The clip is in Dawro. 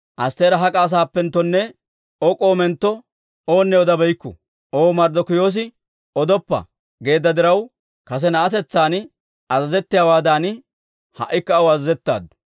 Astteera hak'a asaappenttonne O k'omentto oonne odabeykku. O Marddokiyoosi, «Odoppa» geedda diraw, kase na'atetsaan azazettiyaawaadan, ha"ikka aw azazettaaddu.